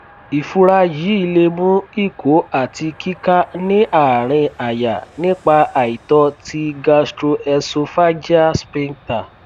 ìfúra yìí lè mú ìkó àti kíká ní àárín àyà nípa àìtọ ti gastroesophageal sphincter